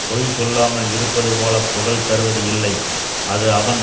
பொய் சொல்லாமல் இருப்பது போல புகழ் தருவது இல்லை அது அவன்